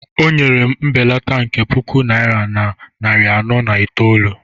O nyere m mbelata nke puku naira na narị anọ na itoolu.